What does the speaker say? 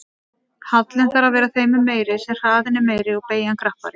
Hallinn þarf að vera þeim mun meiri sem hraðinn er meiri og beygjan krappari.